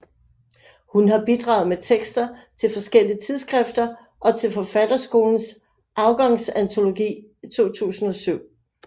Hun har bidraget med tekster til forskellige tidsskrifter og til Forfatterskolens Afgangsantologi 2007